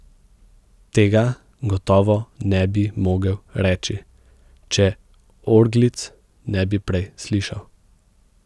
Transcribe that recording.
Tega gotovo ne bi mogel reči, če orglic ne bi prej slišal.